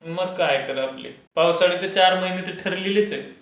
मग काय तर. पावसाळ्याचे चार महिने तर ठरलेलेच आहेत.